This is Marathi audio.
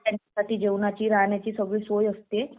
त्यांच्यासाठी जेवण्याची राहण्याची सगळी सोय असते